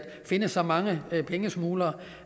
finde så mange pengesmuglere